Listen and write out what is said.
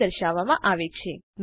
તરીકે દર્શાવવામાં આવે છે